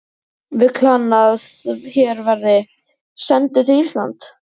Vill hann að her verði sendur til Íslands?